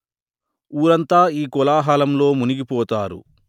ఊరంతా ఈ కోలా హలంలో మునిగి పోతారు